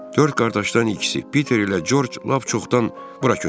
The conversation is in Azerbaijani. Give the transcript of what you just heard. Dörd qardaşdan ikisi, Piter ilə Corc lap çoxdan bura köçüblər.